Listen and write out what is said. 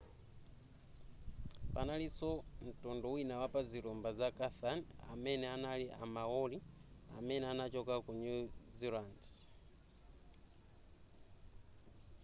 panalinso ntundu wina pa zilumba za chatham amene anali a maori amene anachoka ku new zealand